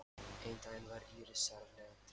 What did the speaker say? Einn daginn var Íris sérlega treg.